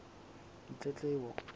ditletlebo